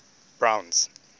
browns